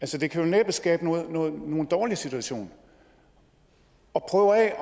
det kan vel næppe skabe nogen dårlig situation at prøve af